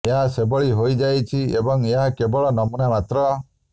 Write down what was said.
ଏହା ସେହିଭଳି ହୋଇଯାଇଛି ଏବଂ ଏହା କେବଳ ନମୂନା ମାତ୍ର